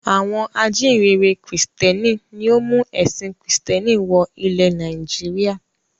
Àwọn ajíǹrere Kìrìtẹ́ẹ́nì ni ó mú ẹ̀sìn Kìrìtẹ́ẹ́nì wọ ilẹ̀ Nàìjíríà.